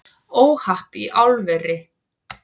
Óhapp í álveri